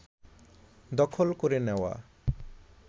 দখল করে নেওয়া